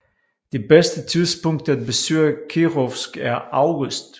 Det bedste tidspunkt at besøge Kirovsk er august